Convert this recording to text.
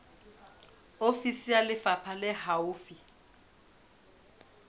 ofisi ya lefapha le haufi